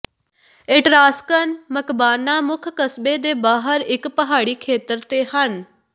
Etruscan ਮਕਬਾਨਾਂ ਮੁੱਖ ਕਸਬੇ ਦੇ ਬਾਹਰ ਇੱਕ ਪਹਾੜੀ ਖੇਤਰ ਤੇ ਹਨ